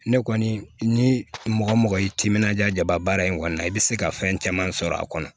Ne kɔni ni mɔgɔ mɔgɔ y'i timinanja jaba baara in kɔnɔna na i bɛ se ka fɛn caman sɔrɔ a kɔnɔ